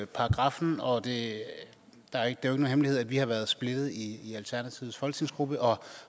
paragraffen og det er ikke nogen hemmelighed at vi har været splittet i alternativets folketingsgruppe og